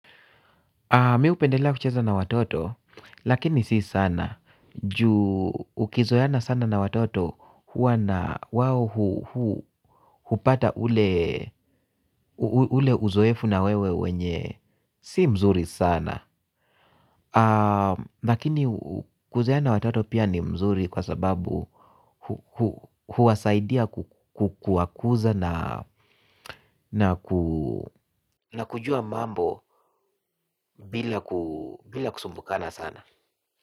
Mi upendelea kucheza na watoto lakini si sana ju ukizoeana sana na watoto huwa na wawo hupata ule uzoefu na wewe wenye si mzuri sana. Lakini kuzoeana na watoto pia ni mzuri kwa sababu huwasaidia kuwakuza na kujua mambo bila kusumbukana sana.